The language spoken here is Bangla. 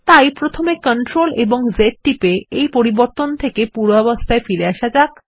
তাই প্রথমে CTRL জেড টিপে এই পরিবর্তনটি পূর্বাবস্থায় ফেরাতে হবে